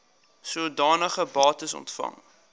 sodanige bates ontvang